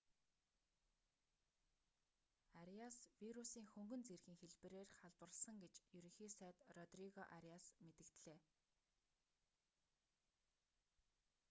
ариас вирусийн хөнгөн зэргийн хэлбэрээр халдварласан гэж ерөнхий сайд родриго ариас мэдэгдлээ